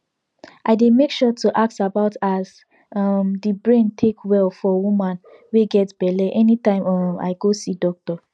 i dey make sure to ask about as um the brain take well for woman wey get belle anytime um i go see doctor